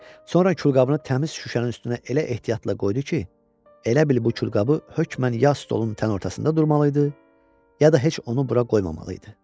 Sonra külqabını təmiz şüşənin üstünə elə ehtiyatla qoydu ki, elə bil bu külqabı hökmən ya stolun tən ortasında durmalı idi, ya da heç onu bura qoymamalı idi.